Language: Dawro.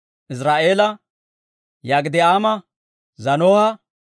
Iziraa'eela, Yok'idi'aama, Zaanoha,